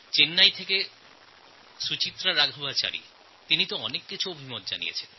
চেন্নাই থেকে সুচিত্রা রাঘবচারী অনেক মতামত পাঠিয়েছেন